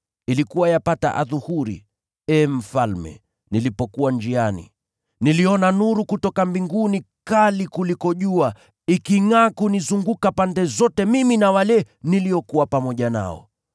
Ilikuwa yapata adhuhuri, ee mfalme, nilipokuwa njiani, niliona nuru kutoka mbinguni kali kuliko jua, ikingʼaa kunizunguka pande zote mimi na wale niliokuwa pamoja nao.